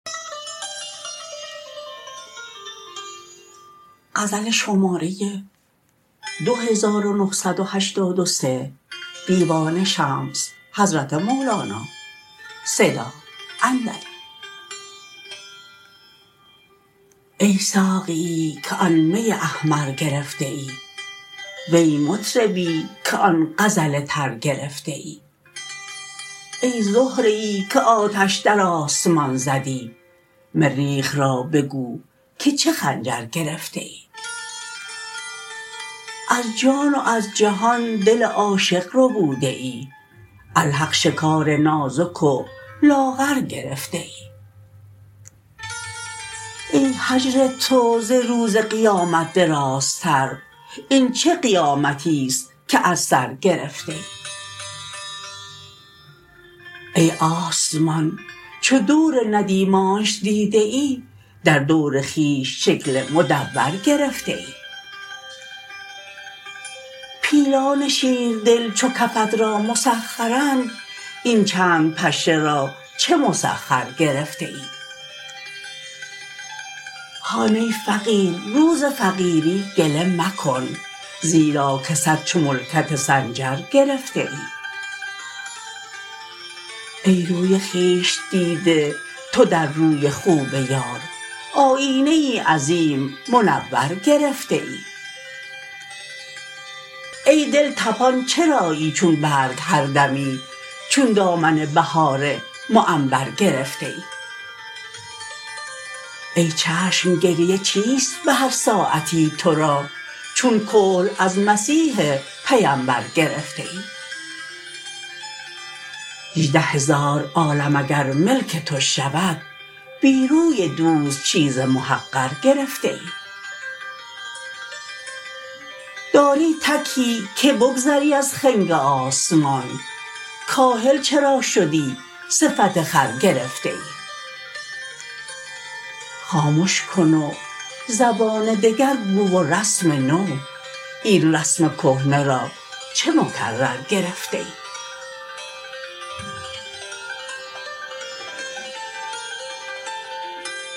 ای ساقیی که آن می احمر گرفته ای وی مطربی که آن غزل تر گرفته ای ای زهره ای که آتش در آسمان زدی مریخ را بگو که چه خنجر گرفته ای از جان و از جهان دل عاشق ربوده ای الحق شکار نازک و لاغر گرفته ای ای هجر تو ز روز قیامت درازتر این چه قیامتی است که از سر گرفته ای ای آسمان چو دور ندیمانش دیده ای در دور خویش شکل مدور گرفته ای پیلان شیردل چو کفت را مسخرند این چند پشه را چه مسخر گرفته ای هان ای فقیر رو ز فقیری گله مکن زیرا که صد چو ملکت سنجر گرفته ای ای روی خویش دیده تو در روی خوب یار آیینه ای عظیم منور گرفته ای ای دل طپان چرایی چون برگ هر دمی چون دامن بهار معنبر گرفته ای ای چشم گریه چیست به هر ساعتی تو را چون کحل از مسیح پیمبر گرفته ای هجده هزار عالم اگر ملک تو شود بی روی دوست چیز محقر گرفته ای داری تکی که بگذری از خنگ آسمان کاهل چرا شدی صفت خر گرفته ای خامش کن و زبان دگر گو و رسم نو این رسم کهنه را چه مکرر گرفته ای